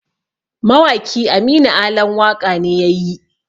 Mawaki Aminu Alan waƙa ne yayi